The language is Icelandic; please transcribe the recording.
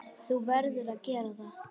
Þú verður að gera það.